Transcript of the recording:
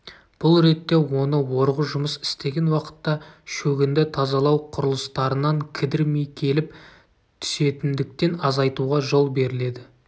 бұл ретте оны орғы жұмыс істеген уақытта шөгінді тазалау құрылыстарынан кідірмей келіп түсетіндіктен азайтуға жол беріледі